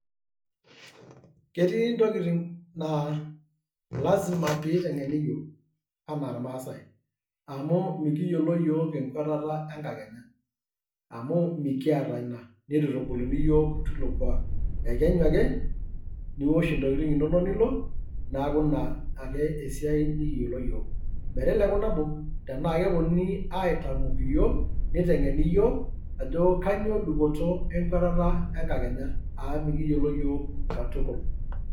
Ketii ntokitin naa lazima peiteng'eni yiok anaa ilmaasai, amu mikiyiolo yiok enkuetata enkakenya amu mikiyata ina neitu eitubuluni yiok teilo kuak, ekenyu ake niwosh intokitin inonok nilo neeku ina ake esiai nikiyiolo yiok, meteleku nabo tenaa kepuonunui aitamok yiok neiteng'eni yiok ajo kainyoo dupoto enkuetata enkakenya amu mikiyiolo yiok katukul.